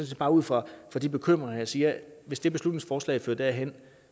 set bare ud fra de bekymringer jeg siger at hvis det beslutningsforslag fører derhen